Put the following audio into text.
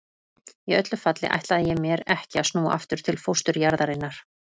Í öllu falli ætlaði ég mér ekki að snúa aftur til fósturjarðarinnar.